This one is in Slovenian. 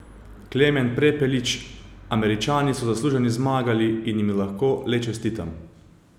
Klemen Prepelič: 'Američani so zasluženo zmagali in jim lahko le čestitam.